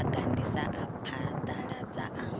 a gandisa a phaḓaladza a